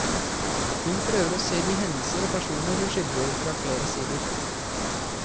Hun prøver å se de hendelser og personer hun skildrer fra flere sider.